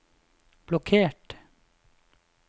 blokkert